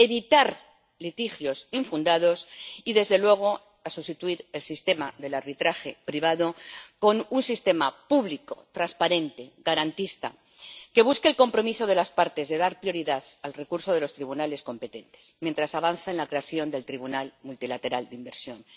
evitar litigios infundados y, desde luego, sustituir el sistema del arbitraje privado con un sistema público, transparente, garantista, que busque el compromiso de las partes de dar prioridad al recurso a los tribunales competentes mientras se avanza en la creación del tribunal multilateral de inversiones.